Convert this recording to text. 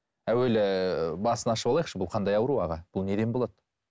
әуелі басын ашып алайықшы бұл қандай ауру аға бұл неден болады